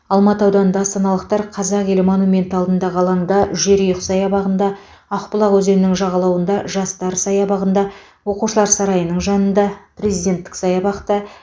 алматы ауданында астаналықтар қазақ елі монументі алдындағы алаңда жерұйық саябағында ақбұлақ өзенінің жағалауында жастар саябағында оқушылар сарайының жанында президенттік саябақта